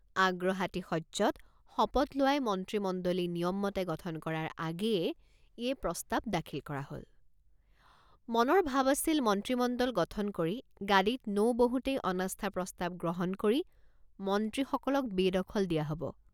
আগ্ৰহাতিশয্যত শপত লোৱাই মন্ত্ৰীমণ্ডলী নিয়ম মতে গঠন কৰাৰ আগেয়ে এই প্ৰস্তাৱ দাখিল কৰা হল ৷ মনৰ ভাব আছিল মন্ত্ৰীমণ্ডল গঠন কৰি গাদীত নৌ বহোতেই অনাস্থা প্ৰস্তাৱ গ্ৰহণ কৰি মন্ত্ৰীসকলক বেদখল দিয়া হব।